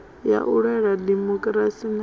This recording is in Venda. ya u lwela dimokirasi na